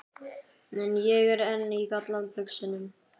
En ég er enn í galla buxunum.